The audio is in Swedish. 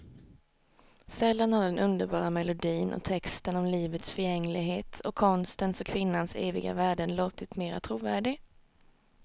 Sällan har den underbara melodin och texten om livets förgängligheten och konstens och kvinnans eviga värden låtit mera trovärdig.